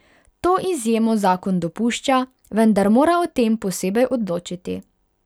To izjemo zakon dopušča, vendar mora o tem posebej odločiti.